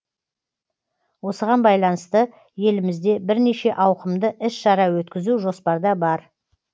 осыған байланысты елімізде бірнеше ауқымды іс шара өткізу жоспарда бар